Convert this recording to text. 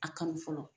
A kanu fɔlɔ